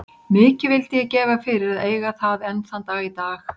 Mikið vildi ég gefa fyrir að eiga það enn þann dag í dag.